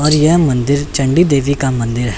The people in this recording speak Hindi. और यह मंदिर चंडी देवी का मंदिर है।